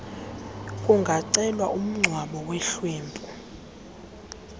kungacelwa umngcwabo wehlwempu